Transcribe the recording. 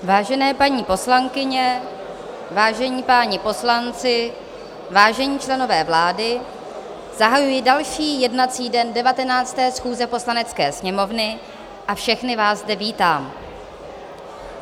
Vážené paní poslankyně, vážení páni poslanci, vážení členové vlády, zahajuji další jednací den 19. schůze Poslanecké sněmovny a všechny vás zde vítám.